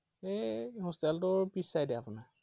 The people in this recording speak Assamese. এৰ hostel টোৰ পিছ side এ আপোনাৰ।